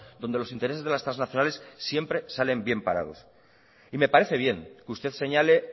donde los intereses de las trasnacionales siempre salen bien parados y me parece bien que usted señale